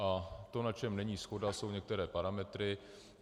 A to, na čem není shoda, jsou některé parametry.